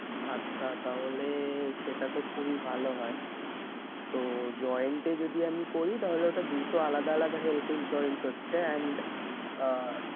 আচ্ছা তাহলে সেটা তো খুবই ভালো হয়। তো joined এ যদি আমি করি তাহলে ওটা দুটো আলাদা আলাদা health insurance হচ্ছে and আহ